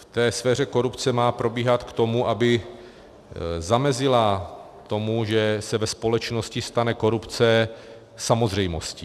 ... v té sféře korupce má probíhat k tomu, aby zamezilo tomu, že se ve společnosti stane korupce samozřejmostí.